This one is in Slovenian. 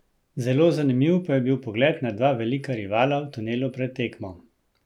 Zelo zanimiv pa je bil pogled na dva velika rivala v tunelu pred tekmo.